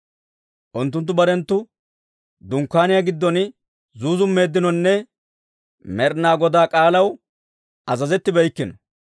Unttunttu barenttu dunkkaaniyaa giddon zuuzummeeddinonne Med'inaa Godaa k'aalaw azazettibeykkino.